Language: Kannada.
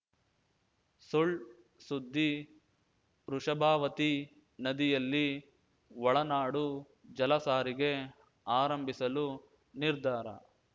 ಸುಳ್‌ ಸುದ್ದಿ ವೃಷಭಾವತಿ ನದಿಯಲ್ಲಿ ಒಳನಾಡು ಜಲಸಾರಿಗೆ ಆರಂಭಿಸಲು ನಿರ್ಧಾರ